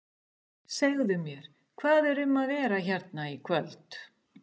Segðu mér, hvað er um að vera hérna í kvöld?